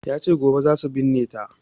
Yace gobe zasu binne ta